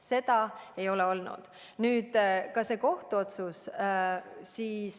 Seda ei ole olnud.